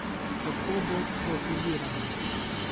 Kako bo profilirana?